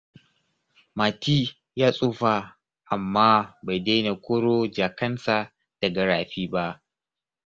Mati ya tsufa, amma bai daina koro jakansa daga rafi ba.